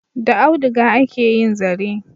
Da auduga ake yin zare.